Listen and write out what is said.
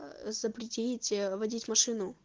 запретить водить машину